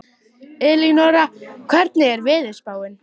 Elínora, hvernig er veðurspáin?